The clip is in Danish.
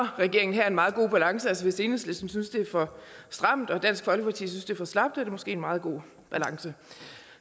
regeringen her en meget god balance altså hvis enhedslisten synes det er for stramt og dansk folkeparti synes det er for slapt er det måske en meget god balance